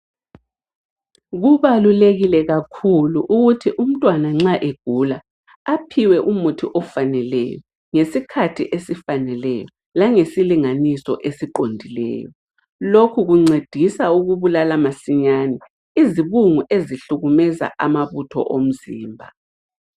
Kubalulekile kakhulu ukuthi umntwana nxa egula aphiwe umuthi ofaneleyo, ngesikhathi esifaneleyo, langesilinganiso esiqondileyo. Lokhu kuncedisa ukubulala masinyane izibungu ezihlukumeza amabutho omzimba.